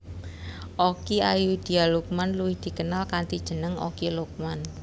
Okky Ayudhia Lukman luwih dikenal kanthi jeneng Okky Lukman